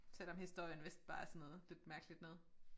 Selvom historien vist bare er sådan noget lidt mærkeligt noget